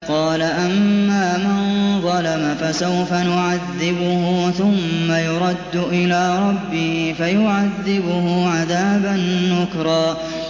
قَالَ أَمَّا مَن ظَلَمَ فَسَوْفَ نُعَذِّبُهُ ثُمَّ يُرَدُّ إِلَىٰ رَبِّهِ فَيُعَذِّبُهُ عَذَابًا نُّكْرًا